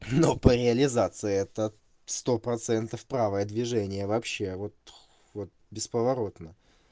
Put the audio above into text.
ну по реализации это сто процентов правое движение вообще вот вот бесповоротно